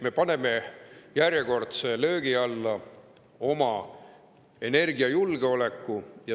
Me paneme järjekordse löögi alla oma energiajulgeoleku.